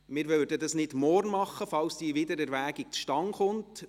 Das würden wir nicht morgen machen, falls diese Wiedererwägung zustande kommt.